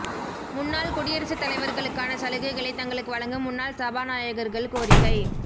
முன்னாள் குடியரசுத் தலைவர்களுக்கான சலுகைகளை தங்களுக்கு வழங்க முன்னாள் சபாநாயகர்கள் கோரிக்கை